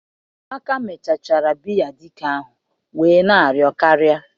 amaka mechachara biya dike ahu wee na-ario karia